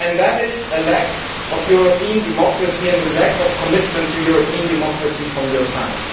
That is a lack of European democracy and a lack of commitment to European democracy from your side.